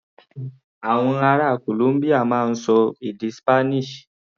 Àwọn ará Columbia máa ń ṣọ èdè Spanish.